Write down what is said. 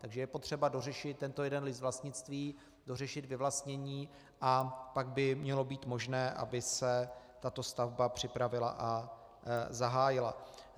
Takže je potřeba dořešit tento jeden list vlastnictví, dořešit vyvlastnění, a pak by mělo být možné, aby se tato stavba připravila a zahájila.